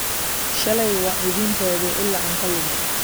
Shalay waan idiin raadiyey ilaa aan ka lumay